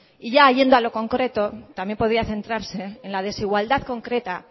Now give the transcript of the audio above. y ya yendo a lo concreto también podía centrarse en la desigualdad concreta